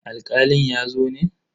Alkalin ya zo ne?